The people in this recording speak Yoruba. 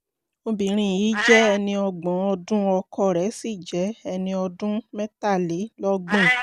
obìnrin yìí jẹ́ ẹni ọgbọ̀n ọdún ọkọ rẹ̀ sì jẹ́ ẹni ọdún mẹ́tàlélọ́gbọ̀n